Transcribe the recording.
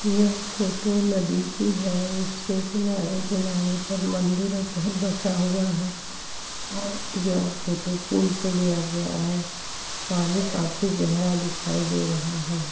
यह फ़ोटो नदी की है इसके किनारे किनारे मंदिर और घर बसा हुआ है यह फ़ोटो पुल से लिया गया है पानी बोहोत गहरा दिखाई दे रहा है।